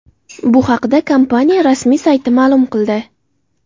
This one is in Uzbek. Bu haqda kompaniya rasmiy sayti ma’lum qildi .